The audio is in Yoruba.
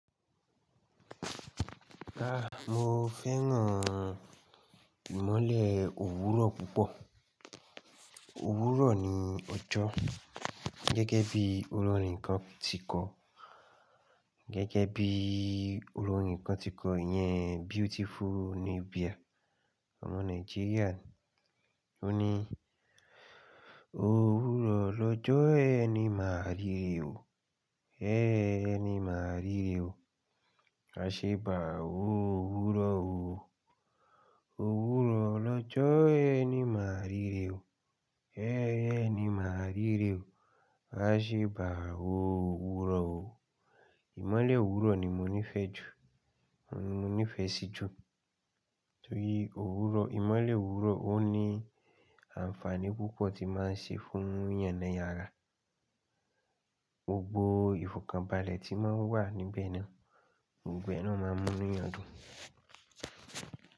Ah! Mo fẹ́ràn ìmọ́lẹ̀ òwúrọ̀ púpọ̀. Òwúrọ̀ ni ọjọ́. Gẹ́gẹ́ bí olórin kan ti kọ gẹ́gẹ́ bí olórin kan ti kọ yẹn Beautiful Nubia, ọmọ Nàìjíríà. Ó ní Òwúrọ̀ lọ́jọ́ ẹni màá rìrè o, ẹẹẹ ẹni màá rìrè o. A ṣe bàa oo òwúrọ̀ o. Òwúrọ̀ lọ́jọ́ ẹni màá rìrè o, ẹẹẹ ẹni màá rìrè o. A ṣe bàa wo òwúrọ̀ o. Ìmọ́lẹ̀ òwúrọ̀ ni mo nífẹ̀ẹ́ jù, mo nífẹ̀ẹ́ sí jù. Nítorí òwúrọ̀, ìmọ́lẹ̀ òwúrọ̀ ó ní àǹfààní púpọ̀ tí máa ń ṣe fún yàn ni àrá. Gbogbo ìfọ̀kànbalẹ̀ tí máa ń wà níbẹ̀ náà, gbogbo ẹ náà máa mú nu eyàn dùn.